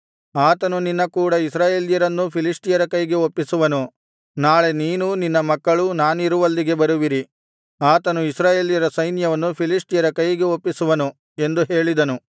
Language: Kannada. ಆತನು ನಿನ್ನ ಕೂಡ ಇಸ್ರಾಯೇಲ್ಯರೆಲ್ಲರನ್ನೂ ಫಿಲಿಷ್ಟಿಯರ ಕೈಗೆ ಒಪ್ಪಿಸುವನು ನಾಳೆ ನೀನೂ ನಿನ್ನ ಮಕ್ಕಳೂ ನಾನಿರುವಲ್ಲಿಗೆ ಬರುವಿರಿ ಆತನು ಇಸ್ರಾಯೇಲ್ಯರ ಸೈನ್ಯವನ್ನು ಫಿಲಿಷ್ಟಿಯರ ಕೈಗೆ ಒಪ್ಪಿಸುವನು ಎಂದು ಹೇಳಿದನು